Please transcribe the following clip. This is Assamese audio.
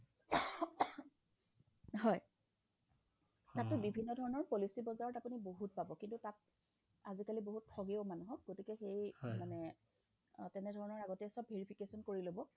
হয় তাতো বিভিন্নধৰণৰ policy বজাৰত আপুনি বহুত পাব কিন্তু তাত আজিকালি বহুত ঠগেও মানুহক গতিকে সেই মানে অ তেনেধৰণৰ আগতে সব verification কৰি ল'ব